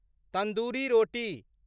तन्दूरी रोटी